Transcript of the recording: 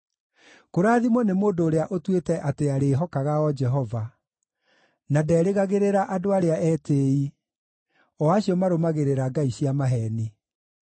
Kũrathimwo nĩ mũndũ ũrĩa ũtuĩte atĩ arĩĩhokaga o Jehova, na nderĩgagĩrĩra andũ arĩa etĩĩi, o acio marũmagĩrĩra ngai cia maheeni.